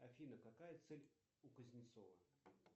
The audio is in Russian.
афина какая цель у кузнецова